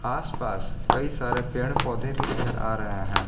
आस पास कई सारे पेड़ पौधे भी नजर आ रहे हैं।